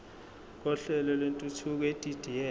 kohlelo lwentuthuko edidiyelwe